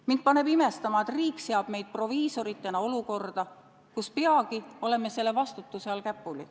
Mind paneb imestama, et riik seab meid proviisoritena olukorda, kus peagi oleme selle vastutuse all käpuli.